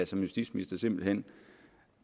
som justitsminister simpelt hen